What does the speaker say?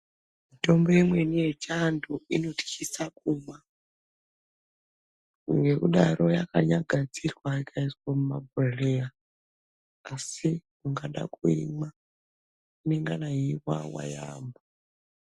Mitombo imweni yechianthu inotkisa kumwa ngekudaro yakanyagadzirwa ikaiswa mumabhodhleya asi ukada kuimwa inengane yeiwawa yaamho.